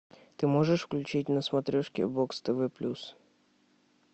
ты можешь включить на смотрешке бокс тв плюс